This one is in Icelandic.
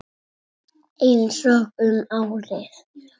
Kysstu mig sagði hann.